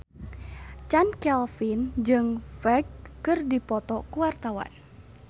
Chand Kelvin jeung Ferdge keur dipoto ku wartawan